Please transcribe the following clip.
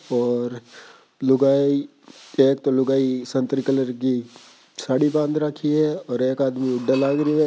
और लुगाई एक तो लुगाई संतरे कलर की साडी बांध राखी है और एक आदमी लागरीयो हेे।